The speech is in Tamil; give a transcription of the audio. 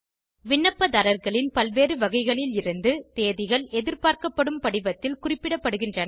விண்ணப்பதாரர்களின் பல்வேறு வகைகளில் இருந்து தேதிகள் எதிர்பார்க்கப்படும் படிவத்தில் குறிப்பிடப்படுகின்றன